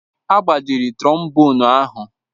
Agbajiri trombonu ahụ